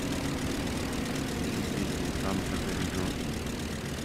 включи песню там за горизонтом